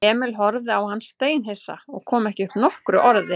Emil horfði á hann steinhissa og kom ekki upp nokkru orði.